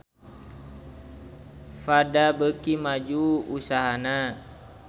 Prada beuki maju usahana